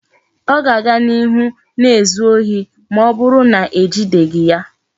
O ga-aga n'ihu na-ezu ohi ma oburu na ejideghi ya